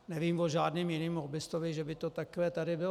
Nevím o žádném jiném lobbistovi, že by to takhle tady bylo.